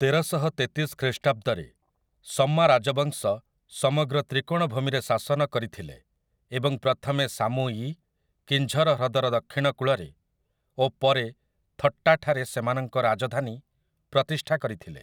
ତେରଶହତେତିଶ ଖ୍ରୀଷ୍ଟାବ୍ଦରେ ସମ୍ମା ରାଜବଂଶ ସମଗ୍ର ତ୍ରିକୋଣଭୂମିରେ ଶାସନ କରିଥିଲେ ଏବଂ ପ୍ରଥମେ ସାମୁ ଇ, କିଞ୍ଝର ହ୍ରଦର ଦକ୍ଷିଣ କୂଳରେ, ଓ ପରେ ଥଟ୍ଟାଠାରେ ସେମାନଙ୍କ ରାଜଧାନୀ ପ୍ରତିଷ୍ଠା କରିଥିଲେ ।